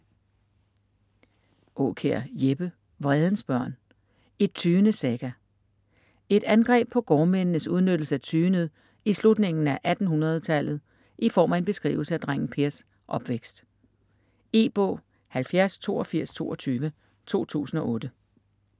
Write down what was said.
Aakjær, Jeppe: Vredens Børn: et Tyendes Saga Et angreb på gårdmændenes udnyttelse af tyendet i slutningen af 1800-tallet i form af en beskrivelse af drengen Pers opvækst. E-bog 708222 2008.